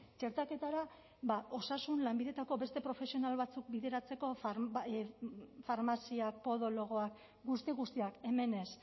txertaketara osasun lanbideetako beste profesional batzuk bideratzeko farmaziak podologoak guzti guztiak hemen ez